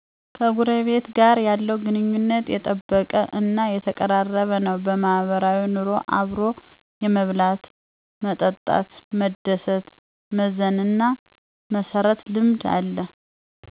ከጎረቤት ጋር የለው ግንኙነት የጠበቀ እና የተቀራረበ ነው። ማህበራዊ ኑሮ አብሮ የመብላት፣ መጠጣት፣ መደሰት፣ መዘን እና መስረት ልምድ አለ